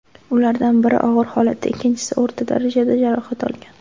Ulardan biri og‘ir holatda, ikkinchisi o‘rta darajada jarohat olgan.